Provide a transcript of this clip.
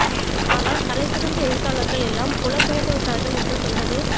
ஆனால் தலை சிறந்த எழுத்தாளர்கள் எல்லாம் புலம் பெயர்ந்துவிட்டார்கள் என்று சொல்வது